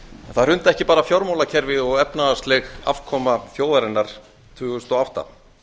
það hrundi ekki bara fjármálakerfið og efnahagsleg afkoma þjóðarinnar tvö þúsund og átta